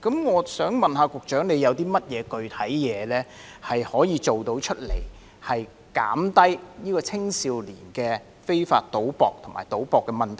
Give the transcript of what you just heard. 我想問局長，有何具體方法可以緩減青少年非法賭博及賭博的問題？